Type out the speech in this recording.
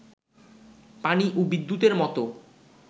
পানি ও বিদ্যুতের মতো